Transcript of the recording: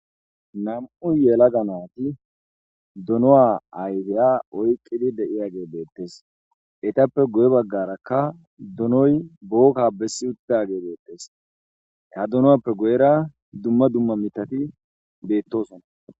Nam'u yela ganaati duno'a aydeya oyqqidi de'iya ge beettes etappe guye baggarakka dunoy bookka bessi uttage beettes ha dunoappe guyera dumma dumma mitati beettosona.